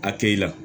A kɛ i la